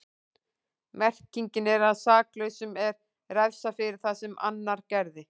Merkingin er að saklausum er refsað fyrir það sem annar gerði.